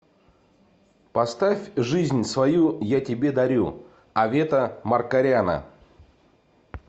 поставь жизнь свою я тебе дарю авета маркаряна